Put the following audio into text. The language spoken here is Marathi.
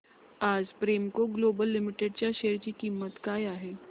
आज प्रेमको ग्लोबल लिमिटेड च्या शेअर ची किंमत काय आहे